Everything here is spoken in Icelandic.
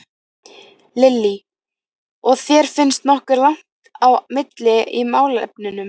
Lillý: Og þér finnst nokkuð langt á milli í málefnunum?